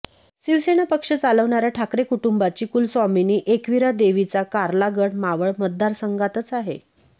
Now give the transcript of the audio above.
शिवसेना पक्ष चालवणाऱ्या ठाकरे कुटुंबांची कुलस्वामिनी एकवीरा देवीचा कार्ला गड मावळ मतदारसंघातच आहे